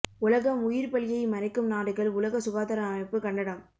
உலகம் உயிர் பலியை மறைக்கும் நாடுகள் உலக சுகாதார அமைப்பு கண்டனம்